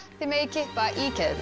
þið megið kippa í keðjurnar